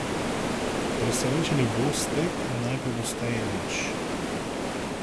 Presenečeni boste, najpogosteje nič.